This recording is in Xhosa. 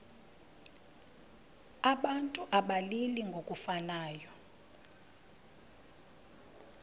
abantu abalili ngokufanayo